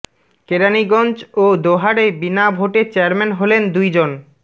কেরানীগঞ্জ ও দোহারে বিনা ভোটে চেয়ারম্যান হলেন দুই জন